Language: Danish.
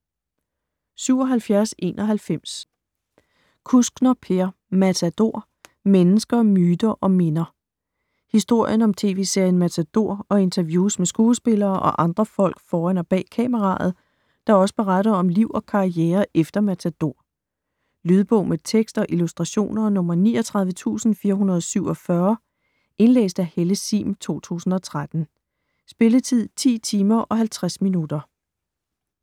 77.91 Kuskner, Per: Matador: mennesker, myter & minder Historien om tv-serien Matador og interviews med skuespillere og andre folk foran og bag kameraet, der også beretter om liv og karriere efter Matador. Lydbog med tekst og illustrationer 39447 Indlæst af Helle Sihm, 2013. Spilletid: 10 timer, 50 minutter.